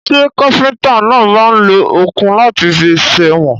Ṣẹ́ káfíntà náà máà ń lo òkun láti fi sèwọ̀n?